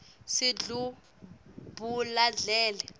sidlubuladledle